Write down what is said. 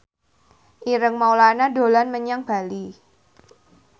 Ireng Maulana dolan menyang Bali